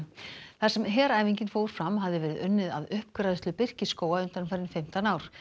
þar sem heræfingin fór fram hafði verið unnið að uppgræðslu birkiskóga undanfarin fimmtán ár